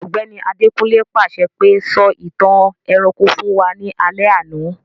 Ògbẹ́ni Adekunle pàṣẹ pe, 'Sọ ìtàn ẹranko fun wa ni alẹ́ àná'